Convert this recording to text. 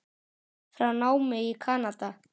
frá námi í Kanada.